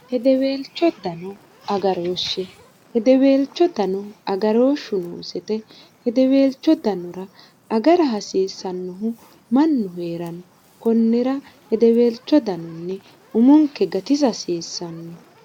hideweelchdngrshshhideweelcho dano agarooshshu noosete hideweelcho danora agara hasiissannohu mannu hee'ranno kunnira hideweelcho danonni umunke gatisa hasiissanno